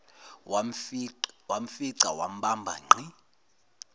wamfica wambamba ngqi